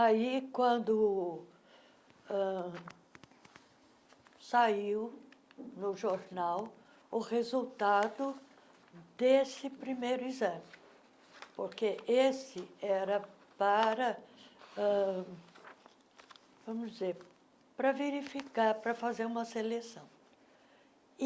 Aí, quando ãh saiu no jornal o resultado desse primeiro exame, porque esse era para, vamos dizer, para verificar, para fazer uma seleção.